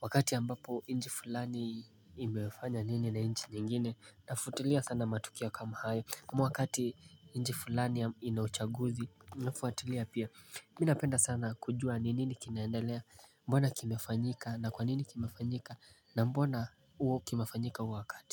wakati ambapo inchi fulani imefanya nini na inchi nyingine nafuatilia sana matukio kama hayo, ama wakati inchi fulani inauchaguzi nafuatilia pia. Mimi napenda sana kujua ni nini kinaendelea, mbona kimefanyika na kwa nini kimefanyika na mbona ua kimefanyika huo wakati.